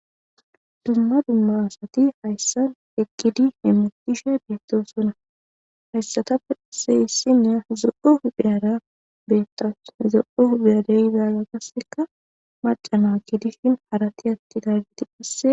Dumma dumma asati hayssan eqqidi hemutishe biittosona. Hayssatape qasse issiniya zo7o huphiyara beettawus. zo7o huphiyara qasseka macana gidishin harati attidaagiti qasse..